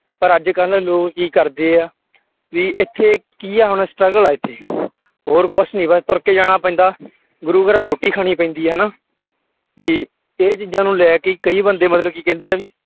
ਪਰ ਅੱਜ ਕੱਲ੍ਹ ਲੋਕ ਕੀ ਕਰਦੇ ਆ ਵੀ ਇੱਥੇ ਕੀ ਆ ਹੁਣ struggle ਆ ਇੱਥੇ ਹੋਰ ਕੁਛ ਨੀ ਬਸ ਤੁਰਕੇ ਜਾਣਾ ਪੈਂਦਾ ਗੁਰੂ ਘਰ ਰੋਟੀ ਖਾਣੀ ਪੈਂਦੀ ਹੈ ਹਨਾ ਵੀ ਇਹ ਚੀਜ਼ਾਂ ਨੂੰ ਲੈ ਕੇ ਕਈ ਬੰਦੇ ਮਤਲਬ ਕੀ ਕਹਿੰਦੇ ਆ ਵੀ